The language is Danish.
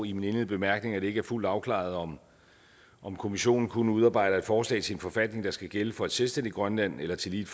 indledende bemærkninger at det ikke er fuldt afklaret om om kommissionen kun udarbejder et forslag til en forfatning der skal gælde for et selvstændigt grønland eller tillige